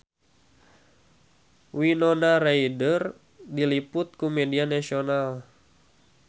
Winona Ryder diliput ku media nasional